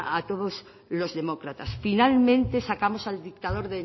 a todos los demócratas finalmente sacamos al dictador